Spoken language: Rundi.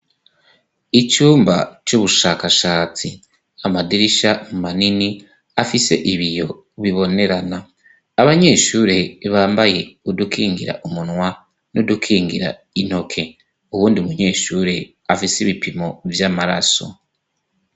icumba c'ubushakashatsi amadirisha mu manini afise ibiyo bibonerana abanyeshuri bambaye udukengira umunwa n'udukengira intoke ubundi munyeshuri afise ibipimo vy'amaraso.